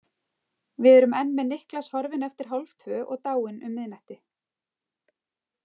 Við erum enn með Niklas horfinn eftir hálftvö og dáinn um miðnætti.